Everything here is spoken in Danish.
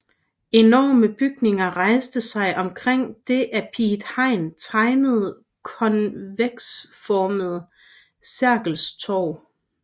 Enorme bygninger rejser sig omkring det af Piet Hein tegnede konveksformede Sergels Torg